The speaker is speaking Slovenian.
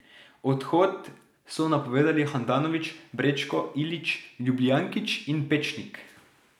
Odhod so napovedali Handanović, Brečko, Ilić, Ljubijankić in Pečnik.